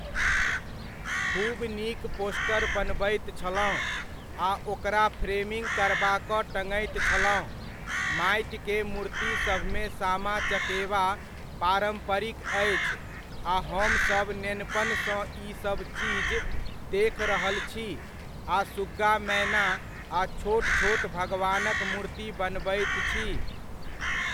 खूब नीक पोस्टर बनबैत छलहुँ, आ ओकरा फ़्रेमिङ्ग करबा कऽ टङैत छलहुँ, माटिके मुर्ति सभमे सामा चकेवा पारम्परिक अछि आ हमसभ नेनपनसँ ई सभ चीज देख रहल छी, आ सुग्गा मैना आ छोट छोट भगवानक मुर्ति बनबैत छी।